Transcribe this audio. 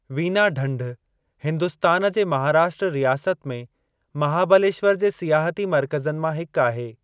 वीना ढंढ हिन्दुस्तान जे महाराष्ट्र रियासत में महाबलेश्वर जे सियाहती मर्कज़नि मां हिकु आहे।